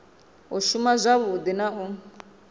u shuma wavhudi na u